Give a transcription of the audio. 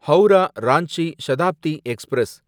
Howrah Ranchi Shatabdi express